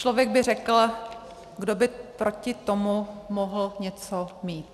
Člověk by řekl: Kdo by proti tomu mohl něco mít?